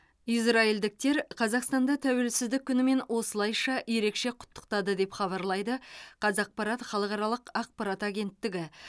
израильдіктер қазақстанды тәуелсіздік күнімен осылайша ерекше құттықтады деп хабарлайды қазақпарат халықаралық ақпарат агенттігі